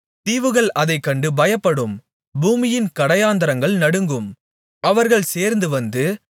தீவுகள் அதைக்கண்டு பயப்படும் பூமியின் கடையாந்தரங்கள் நடுங்கும் அவர்கள் சேர்ந்துவந்து